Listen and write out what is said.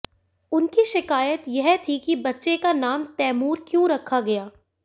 उनकी शिकायत यह थी कि बच्चे का नाम तैमूर क्यों रखा गया